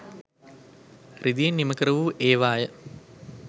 රිදියෙන් නිමකරවූ ඒවා ය.